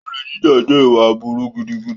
Olè jíjà jẹ́ ìwà aburú gidigidi.